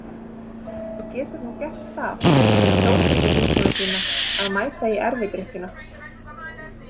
Þú getur nú gert það fyrir Þórhöllu vinkonu þína að mæta í erfidrykkjuna.